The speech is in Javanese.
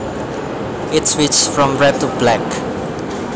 It switched from red to black